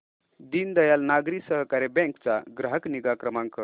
दीनदयाल नागरी सहकारी बँक चा ग्राहक निगा क्रमांक